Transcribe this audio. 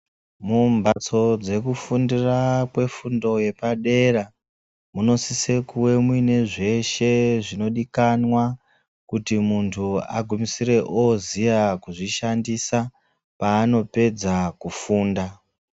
Mumbatso dzekufundira kwefundo yepadera munosise kuve muine zveshe zvinodikanwa kuti mundu agumisire oziya kuzvishandisa panopedza kufunda